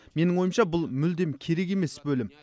менің ойымша бұл мүлде керек емес бөлім